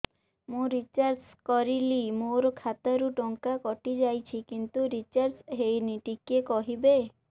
ମୁ ରିଚାର୍ଜ କରିଲି ମୋର ଖାତା ରୁ ଟଙ୍କା କଟି ଯାଇଛି କିନ୍ତୁ ରିଚାର୍ଜ ହେଇନି ଟିକେ କହିବେ